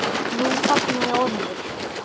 Nú þagnaði Ormur.